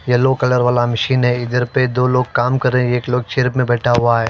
Yellow colour वाला machine है इधर पर दो लोग काम कर रहा है एक लोग चेयर पर बैठा हुआ है।